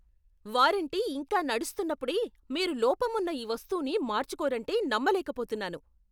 Warranty ఇంకా నడుస్తున్నప్పుడే మీరు లోపమున్న ఈ వస్తువుని మార్చుకోరంటే నమ్మలేకపోతున్నాను.